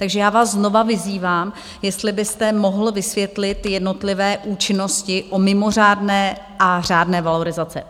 Takže já vás znovu vyzývám, jestli byste mohl vysvětlit jednotlivé účinnosti u mimořádné a řádné valorizace.